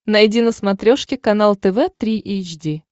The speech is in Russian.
найди на смотрешке канал тв три эйч ди